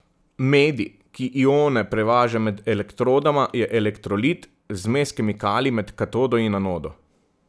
Medij, ki ione prevaža med elektrodama, je elektrolit, zmes kemikalij med katodo in anodo.